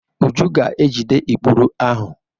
Uju ga-ejide ikpuru ahụ.